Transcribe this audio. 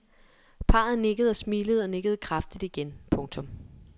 Parret nikkede og smilede og nikkede kraftigt igen. punktum